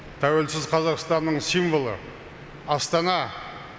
тәуелсіз қазақстанның символы астана